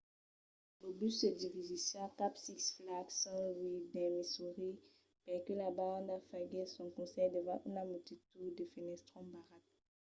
lo bus se dirigissiá cap a six flags st. louis dins missouri perque la banda faguèsse son concèrt davant una multitud a fenestrons barrats